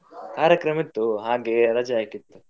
ಕಾರ್ಯಕ್ರಮ ಇತ್ತು ಹಾಗೆ ರಜೆ ಹಾಕಿದ್ದು.